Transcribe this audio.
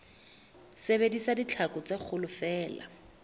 sebedisa ditlhaku tse kgolo feela